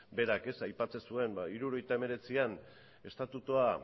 berak aipatzen zuen hirurogeita hemeretzian estatutua